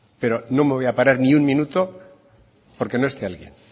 pero no me voy a parar ni un minuto porque no esté alguien